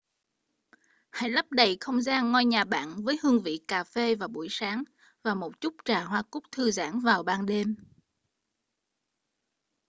hãy lấp đầy không gian ngôi nhà bạn với hương vị cà phê vào buổi sáng và một chút trà hoa cúc thư giãn vào ban đêm